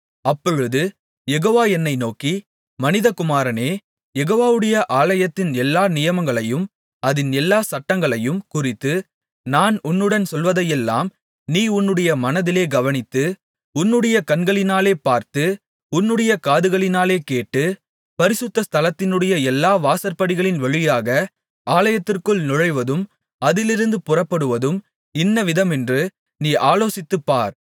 அப்பொழுது யெகோவா என்னை நோக்கி மனிதகுமாரனே யெகோவாவுடைய ஆலயத்தின் எல்லா நியமங்களையும் அதின் எல்லா சட்டங்களையும் குறித்து நான் உன்னுடன் சொல்வதையெல்லாம் நீ உன்னுடைய மனதிலே கவனித்து உன்னுடைய கண்களினாலே பார்த்து உன்னுடைய காதுகளினாலே கேட்டு பரிசுத்த ஸ்தலத்தினுடைய எல்லா வாசற்படிகளின் வழியாக ஆலயத்திற்குள் நுழைவதும் அதிலிருந்து புறப்படுவதும் இன்னவிதமென்று நீ ஆலோசித்துப் பார்த்து